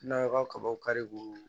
N'a ka kabaw kari ko